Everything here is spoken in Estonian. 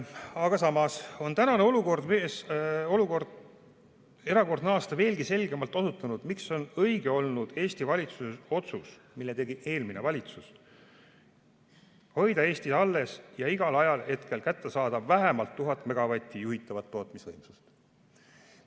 Aga samas on tänavune erakordne aasta veelgi selgemalt osutanud, miks on olnud õige Eesti valitsuse otsus, mille tegi eelmine valitsus, hoida Eestis alles ja igal ajahetkel kättesaadav vähemalt 1000 megavatti juhitavat tootmisvõimsust.